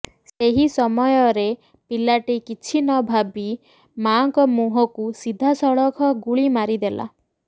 ସେହି ସମୟରେ ପିଲାଟି କିଛି ନଭାବି ମାଆଙ୍କ ମୁହଁକୁ ସିଧାସଳଖ ଗୁଳି ମାରିଦେଲା